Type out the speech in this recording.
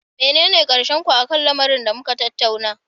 Menene karshen ku akan lamarin da muka tattauna?